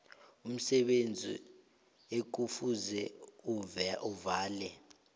umsebenzi ekufuze avale